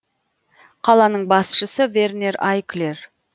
қаланың басшысы вернер айклер